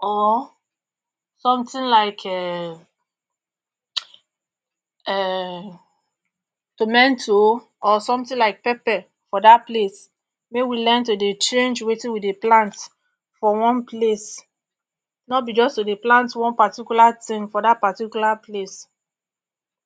or sometin like pepper for dat particular place make we dey learn to dey change wetin we dey plant for one place no be just to dey plant one particular tin for dat particular place